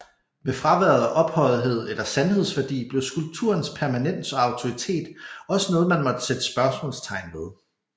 Med fraværet af ophøjethed eller sandhedsværdi blev skulpturens permanens og autoritet også noget man måtte sætte spørgsmålstegn ved